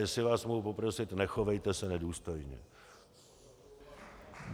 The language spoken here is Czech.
Jestli vás mohu poprosit, nechovejte se nedůstojně.